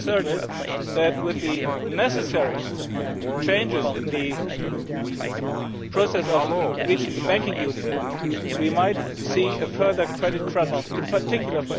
My concern is that, with the necessary changes in the process of achieving banking union, we might see a further credit crunch for SMEs in particular.